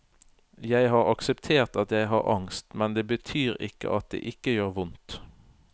Jeg har akseptert at jeg har angst, men det betyr ikke at det ikke gjør vondt.